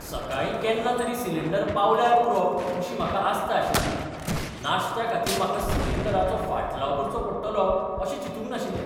सकाळीं केन्ना तरी सिलिंडर पावल्यार पुरो अशी म्हाका आस्त आशिल्ली. नाश्त्याखातीर म्हाका सिलिंडराचो फाटलाव करचो पडटलो अशें चिंतूंक नाशिल्लें.